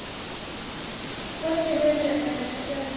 hvort sem um er að ræða karla eða konur.